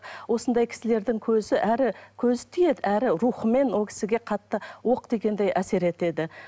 осындай кісілердің көзі әрі көзі тиеді әрі рухымен ол кісіге қатты оқ тигендей әсер етеді